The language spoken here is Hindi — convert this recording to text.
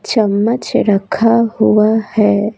चम्मच रखा हुआ है।